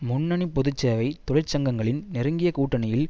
முன்னணி பொது சேவை தொழிற்சங்கங்களின் நெருங்கிய கூட்டணியில்